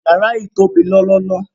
Yàrà yìí tó bí lọ́lọ́lọ́.